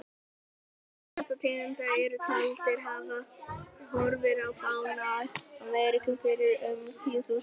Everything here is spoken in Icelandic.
Báðar þessar tegundir eru taldar hafa horfið úr fánu Ameríku fyrir um tíu þúsund árum.